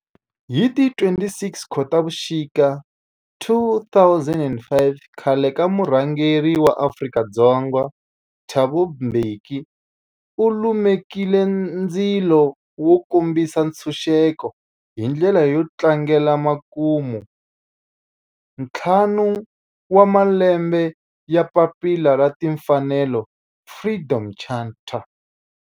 Hi ti 26 Khotavuxika 2005 khale ka murhangeri wa Afrika-Dzonga Thabo Mbeki u lumekile ndzilo wo kombisa ntshuxeko, hi ndlela yo tlangela makumentlhanu wa malembe ya papila ra timfanelo, Freedom Charter.